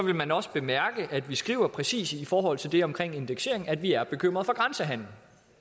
man også bemærke at vi skriver præcis i forhold til det omkring indeksering at vi er bekymrede for grænsehandelen